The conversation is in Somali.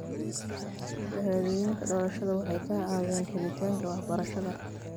Shahaadooyinka dhalashada waxay ka caawiyaan helitaanka waxbarashada.